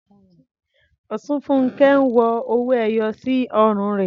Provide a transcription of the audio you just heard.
Osunfunke ń wọ owó ẹyọ sí ọrùn rẹ̀.